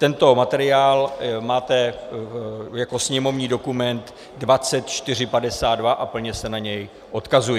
Tento materiál máte jako sněmovní dokument 2452 a plně se na něj odkazuji.